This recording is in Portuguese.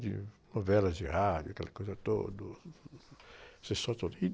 De novelas de rádio, aquela coisa todo... O todo...